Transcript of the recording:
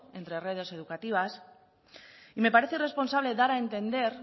entre redes educativas y me parece irresponsable dar a entender